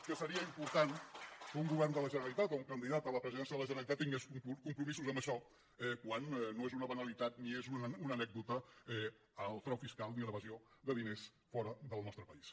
que seria important que un govern de la generalitat o un candidat a la presidència de la generalitat tingués compromisos amb això quan no és una banalitat ni és una anècdota el frau fiscal ni l’evasió de diners fora del nostre país